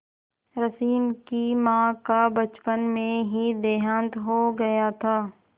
रश्मि की माँ का बचपन में ही देहांत हो गया था